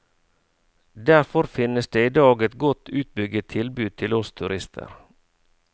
Derfor finnes det i dag et godt utbygget tilbud til oss turister.